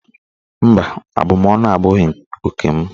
Mba, abụmaọnụ abụghị oke m.